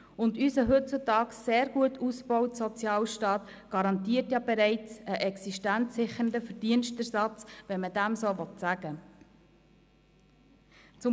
Zudem garantiert unser heutzutage sehr gut ausgebauter Sozialstaat bereits einen existenzsichernden Verdienstersatz, wenn man dem so sagen will.